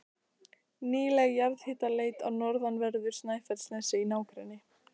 Nýleg jarðhitaleit á norðanverðu Snæfellsnesi í nágrenni